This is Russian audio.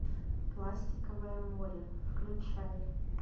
пластиковое море включай